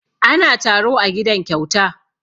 Ana taro a gidan Kyauta.